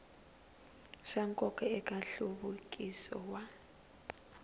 swa nkoka eka nhluvukiso wa